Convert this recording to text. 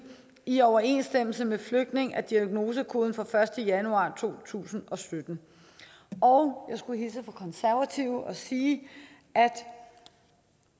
i overensstemmelse med flytning af diagnosekoden fra den første januar to tusind og sytten og jeg skulle hilse fra konservative og sige at